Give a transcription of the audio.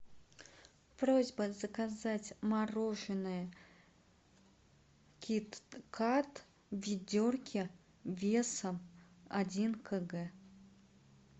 просьба заказать мороженое кит кат в ведерке весом один кг